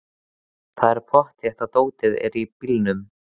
Það er pottþétt að dótið er í bílnum!